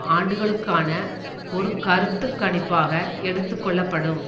ஆண்டுகளுக்கான ஒரு கருத்து கணிப்பாக எடுத்து கொள்ளப்படும்